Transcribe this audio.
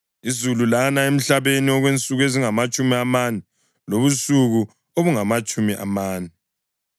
Izulu lana emhlabeni okwensuku ezingamatshumi amane lobusuku obungamatshumi amane.